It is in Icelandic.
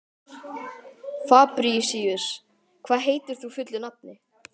Fabrisíus, hvað heitir þú fullu nafni?